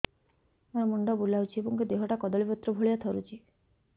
ମୋର ମୁଣ୍ଡ ବୁଲାଉଛି ଏବଂ ଦେହଟା କଦଳୀପତ୍ର ଭଳିଆ ଥରୁଛି